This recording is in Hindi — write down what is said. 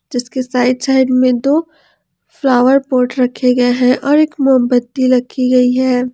जिसके साइड साइड में दो फ्लावर पॉट रखे गए हैं और एक मोमबत्ती रखी गई है।